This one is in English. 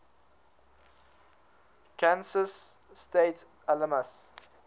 kansas state alums